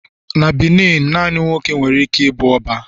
na Benin, nani nwoke nwere ike ibu oba